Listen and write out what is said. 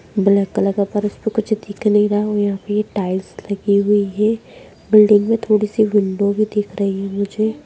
Black colour के फर्श पे कुछ दिख नहीं रहा है और यहां पे ये टाइल्स लगी हुई हैं बिल्डिंग में थोड़ी सी विंडो भी दिख रही है मुझे।